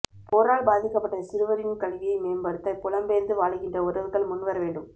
போரால் பாதிக்கப்பட்ட சிறுவரின் கல்வியை மேம்படுத்த புலம்பெயர்ந்து வாழுகின்ற உறவுகள் முன்வரவேண்டும்